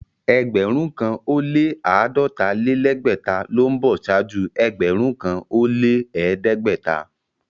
Ẹgbẹ̀rún kàn ó lẹ́ àádọ́ta-lé-lẹ́gbẹ̀ta ló ń bọ̀ ṣáájú ẹgbẹ̀rún kàn ó lẹ́ ẹ̀ẹ́dẹ́gbẹ̀ta.